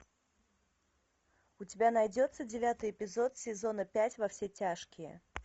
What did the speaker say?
у тебя найдется девятый эпизод сезона пять во все тяжкие